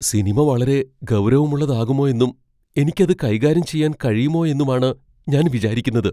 Cinema വളരെ ഗൗരവമുള്ളതാകുമോ എന്നും എനിക്ക് അത് കൈകാര്യം ചെയ്യാൻ കഴിയുമോയെന്നുമാണ് ഞാൻ വിചാരിക്കുന്നത്.